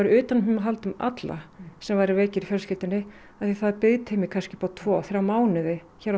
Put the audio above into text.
utanumhald um alla sem væru veikir í fjölskyldunni því það er biðtími upp á tvo þrjá mánuði hjá